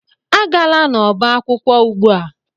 Agala n'ọba akwụkwọ ugbu a!